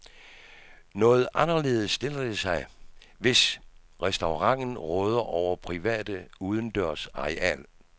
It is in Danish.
Noget anderledes stiller det sig, hvis restauranten råder over private, udendørs areal.